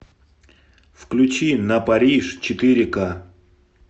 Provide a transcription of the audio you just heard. включи на париж четыре ка